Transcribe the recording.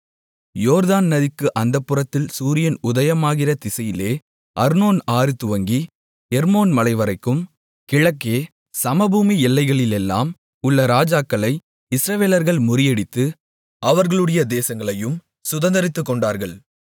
யோர்தான் நதிக்கு அந்தப் புறத்தில் சூரியன் உதயமாகிற திசையிலே அர்னோன் ஆறு துவங்கி எர்மோன் மலைவரைக்கும் கிழக்கே சமபூமி எல்லைகளிலெல்லாம் உள்ள ராஜாக்களை இஸ்ரவேலர்கள் முறியடித்து அவர்களுடைய தேசங்களையும் சுதந்தரித்துக்கொண்டார்கள்